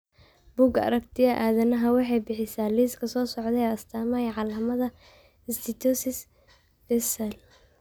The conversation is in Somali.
Bugga Aragtiyaha Aadanahawaxay bixisaa liiska soo socda ee astaamaha iyo calaamadaha steatosis Visceral.